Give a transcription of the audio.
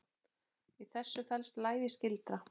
Í þessu felst lævís gildra.